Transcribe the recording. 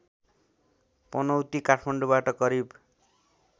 पनौती काठमाडौँबाट करिब